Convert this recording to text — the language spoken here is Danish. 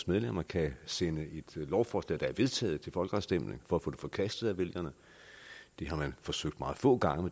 medlemmer kan sende et lovforslag der er vedtaget til folkeafstemning for at få det forkastet af vælgerne det har man forsøgt meget få gange